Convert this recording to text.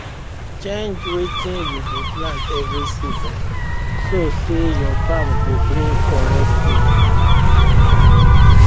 change wetin you dey plant every season so say your farm go bring correct food